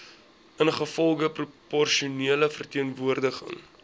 ingevolge proporsionele verteenwoordiging